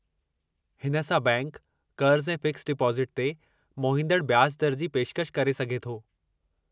हिन सां बैंकि क़र्ज़ु ऐं फ़िक्सड डिपोज़िट ते मोहींदड़ ब्याज दर जी पेशकशि करे सघे थो।